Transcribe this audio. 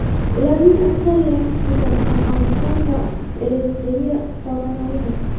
Ularning aksariyati Sudan, Afg‘oniston va Eritreya fuqarolaridir.